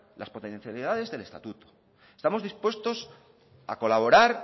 las potencialidades del estatuto estamos dispuestos a colaborar